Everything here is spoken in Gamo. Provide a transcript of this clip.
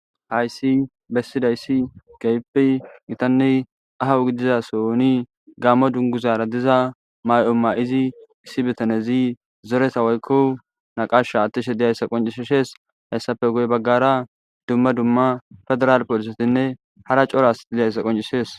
Hayssi bessidayssi gaype gitanne ahawu gidizasoni gammo dunguzaara diza may'o ma7izi issi bitanezi zoresawoykko naqasha attishe diyayssa qoncisshes hessafe goy baggara dumma dumma federal polisesinne hara coras diyayssa qoncishees.